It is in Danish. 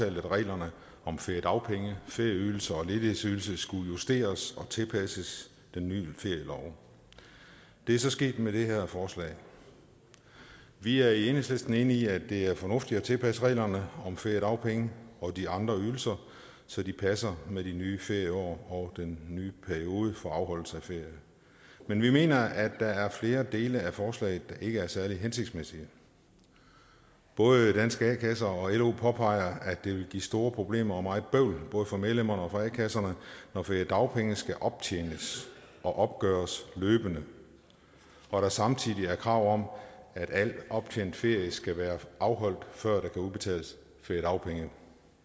reglerne om feriedagpenge ferieydelse og ledighedsydelse skulle justeres og tilpasses den nye ferielov det er så sket med det her forslag vi er i enhedslisten enige i at det er fornuftigt at tilpasse reglerne om feriedagpenge og de andre ydelser så de passer med det nye ferieår og den nye periode for afholdelse af ferie men vi mener at der er flere dele af forslaget der ikke er særlig hensigtsmæssige både danske a kasser og lo påpeger at det vil give store problemer og meget bøvl både for medlemmerne og for a kasserne når feriedagpenge skal optjenes og opgøres løbende og der samtidig er krav om at al optjent ferie skal være afholdt før der kan udbetales feriedagpenge